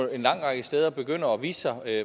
en lang række steder begynder at vise sig